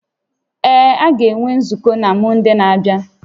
Ee, a ga-enwe nzukọ na Mọnde na-abịa